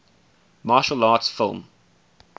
martial arts film